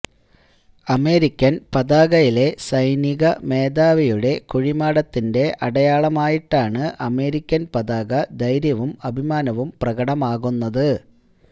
American പതാകയിലെ സൈനിക മേധാവിയുടെ കുഴിമാടത്തിന്റെ അടയാളമായിട്ടാണ് അമേരിക്കൻ പതാക ധൈര്യവും അഭിമാനവും പ്രകടമാകുന്നത്